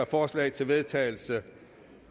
forslag til vedtagelse